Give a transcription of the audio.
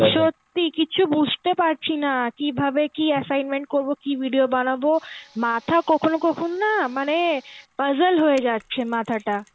সত্যি কিছু বুঝতে পারছিনা কিভাবে কি assignment করবো কি video বানাবো মাথা কখনো কখনো না মানে puzzle হয়ে যাচ্ছে মাথাটা.